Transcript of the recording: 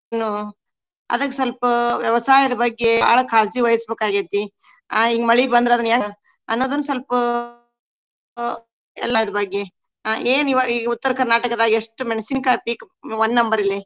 ನು ಅದಕ್ಕ ಸ್ವಲ್ಪ ವ್ಯವಸಾಯದ ಬಗ್ಗೆ ಬಾಳ ಕಾಳಜಿವಹಿಸ್ಬೇಕಾಗೆತಿ. ಆಹ್ ಹಿಂಗ ಮಳಿ ಬಂದ್ರ ಅದನ್ನ ಹೆಂಗ ಅನ್ನೋದನ್ನ ಸ್ವಲ್ಪ ಆಹ್ ಎಲ್ಲದರ ಬಗ್ಗೆ. ಆಹ್ ಏನ ಇವಾಗ ಈಗ ಉತ್ತರ ಕರ್ನಾಟಕದಾಗ ಎಷ್ಟ ಮೆಣಸಿನಕಾಯಿ peak one number ಲೆ.